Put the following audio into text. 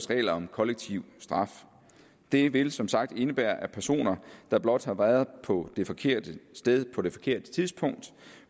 regler om kollektiv straf det vil som sagt indebære at personer der blot har været på det forkerte sted på det forkerte tidspunkt